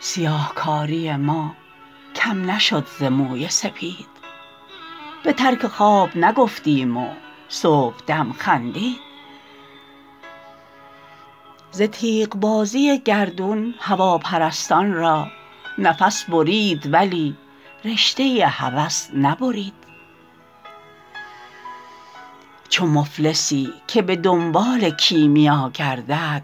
سیاهکاری ما کم نشد ز موی سپید به ترک خواب نگفتیم و صبحدم خندید ز تیغ بازی گردون هواپرستان را نفس برید ولی رشته هوس نبرید چو مفلسی که به دنبال کیمیا گردد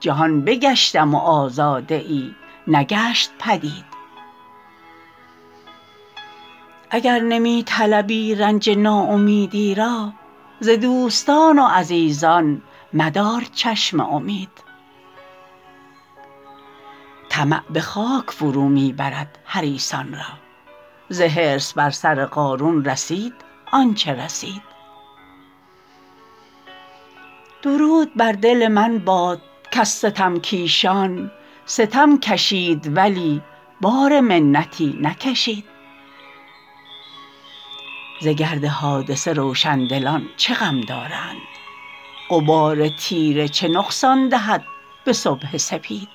جهان بگشتم و آزاده ای نگشت پدید اگر نمی طلبی رنج ناامیدی را ز دوستان و عزیزان مدار چشم امید طمع به خاک فرو می برد حریصان را ز حرص بر سر قارون رسید آنچه رسید درود بر دل من باد کز ستم کیشان ستم کشید ولی بار منتی نکشید ز گرد حادثه روشندلان چه غم دارند غبار تیره چه نقصان دهد به صبح سپید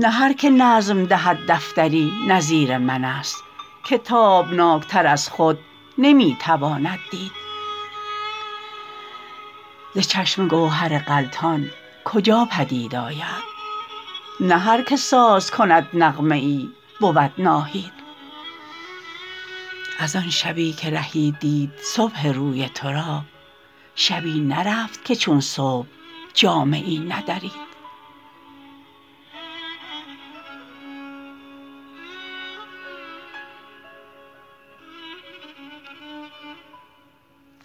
نه هرکه نظم دهد دفتری نظیر من است که تابناک تر از خود نمی تواند دید ز چشمه گوهر غلتان کجا پدید آید نه هرکه ساز کند نغمه ای بود ناهید از آن شبی که رهی دید صبح روی تو را شبی نرفت که چون صبح جامه ای ندرید